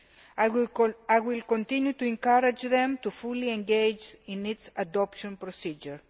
I will continue to encourage them to fully engage in its adoption procedure.